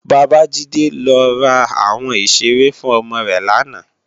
Babajide lò rá áwòn iṣéré fún òmò rè làná